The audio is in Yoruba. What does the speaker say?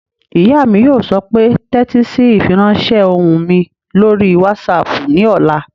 Ìyá mi yóò sọ pé "tẹ́tí sí ìfiránsẹ́ ohùn mi lórí wásaàpù ní ọ̀la!"